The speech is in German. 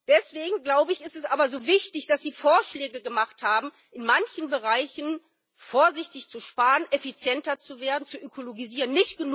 Deswegen ist es aber so wichtig, dass Sie Vorschläge gemacht haben, in manchen Bereichen vorsichtig zu sparen, effizienter zu werden, zu ökologisieren.